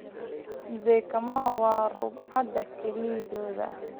Mzee Kamau waa rug-cadaa galeyda ah.